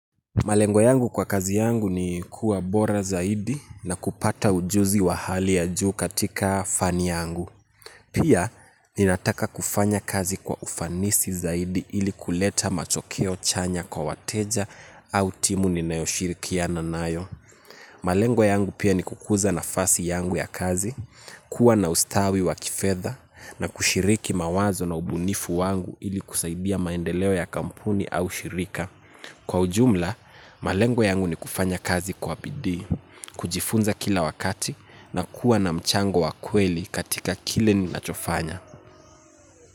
Malengo yangu kwa kazi yangu ni kuwa bora zaidi na kupata ujuzi wa hali ya juu katika fani yangu. Pia, ninataka kufanya kazi kwa ufanisi zaidi ili kuleta matokeo chanya kwa wateja au timu ninayoshirikiana nayo. Malengo yangu pia ni kukuza nafasi yangu ya kazi, kuwa na ustawi wa kifedha na kushiriki mawazo na ubunifu wangu ili kusaidia maendeleo ya kampuni au shirika. Kwa ujumla, malengo yangu ni kufanya kazi kwa bidii, kujifunza kila wakati na kuwa na mchango wa kweli katika kile ninachofanya.